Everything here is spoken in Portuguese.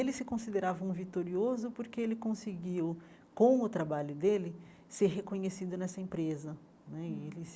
Ele se considerava um vitorioso porque ele conseguiu, com o trabalho dele, ser reconhecido nessa empresa né e ele.